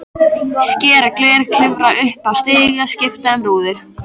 Skera gler, klifra upp í stiga, skipta um rúður.